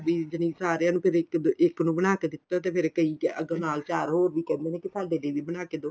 ਦੀ ਨੀਂ ਸਾਰਿਆ ਨੂੰ ਕਦੇ ਇੱਕ ਨੂੰ ਬਣਾ ਕੇ ਦਿੱਤਾ ਤੇ ਫੇਰ ਕਈ ਅੱਗੋ ਨਾਲ ਚਾਰ ਹੋਰ ਵੀ ਕਹਿੰਦੇ ਨੇ ਕੀ ਸਾਡੇ ਲਈ ਵੀ ਬਣਾ ਕੇ ਦੋ